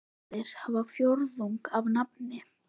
Flestir hafa fjórðung af nafni.